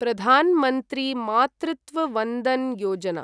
Pradhan Mantri Matritva Vandana Yojana